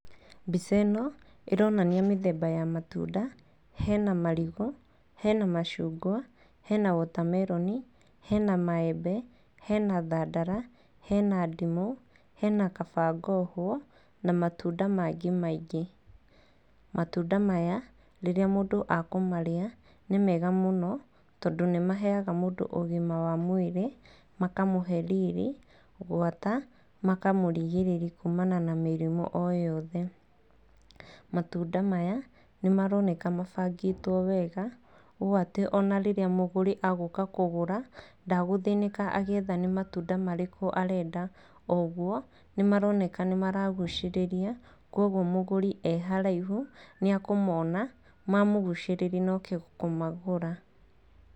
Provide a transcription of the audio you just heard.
Mbica ĩno ĩronania mĩthemba ya matunda, hena marigũ, hena macungwa, hena wota meroni, hena maembe, hena thandara, hena ndimũ, hena kaba ngohwo na matunda mangĩ maingĩ. Matunda maya, rĩrĩa mũndũ akũmarĩa nĩ mega mũno tondũ nĩ maheaga mũndũ ũgima wa mwĩrĩ, makamũge riri gwata makamũrigĩrĩria kumana na mĩrimũ o yothe. Matunda maya nĩ maroneka mabangĩtwo wega ũũ atĩ ona rĩrĩa mũgũri e gũka kũgũra, ndagũthĩnĩka agĩetha atĩ nĩ matunda marĩkũ arenda, ũguo nĩ maroneka nĩ maragucĩrĩria koguo mũgũri e haraihu nĩ e kũmona mamũgucĩrĩria na oke kũmagũra.